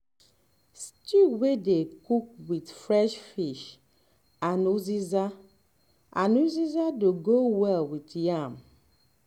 stew wey dey cook with um fresh fish and uziza and uziza dey um go well with yam um